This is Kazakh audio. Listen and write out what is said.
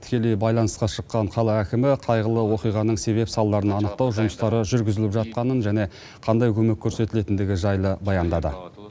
тікелей байланысқа шыққан қала әкімі қайғылы оқиғаның себеп салдарын анықтау жұмыстары жүргізіліп жатқанын және қандай көмек көрсетілетіндігі жайлы баяндады